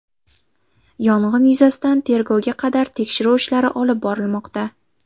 Yong‘in yuzasidan tergovga qadar tekshiruv ishlari olib borilmoqda.